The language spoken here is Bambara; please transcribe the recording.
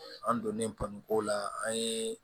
An donnen ko la an ye